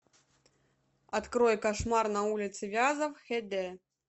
открой кошмар на улице вязов х д